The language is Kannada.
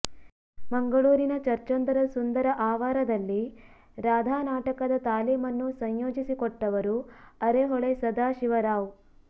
ಮಂಗಳೂರಿನ ಚರ್ಚೊಂದರ ಸುಂದರ ಆವಾರದಲ್ಲಿ ರಾಧಾ ನಾಟಕದ ತಾಲೀಮನ್ನು ಸಂಯೋಜಿಸಿಕೊಟ್ಟವರು ಅರೆಹೊಳೆ ಸದಾಶಿವರಾವ್